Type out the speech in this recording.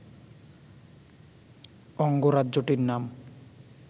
অঙ্গরাজ্যটির নাম